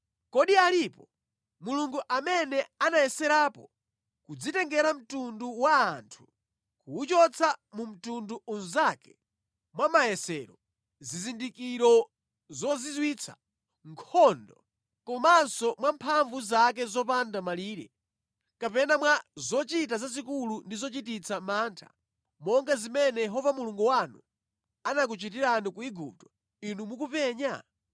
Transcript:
Kodi alipo mulungu amene anayeserapo kudzitengera mtundu wa anthu kuwachotsa mu mtundu unzake mwa mayesero, zizindikiro zozizwitsa, nkhondo, komanso mwa mphamvu zake zopanda malire, kapena mwa zochita zazikulu ndi zochititsa mantha, monga zimene Yehova Mulungu wanu anakuchitirani ku Igupto inu mukupenya?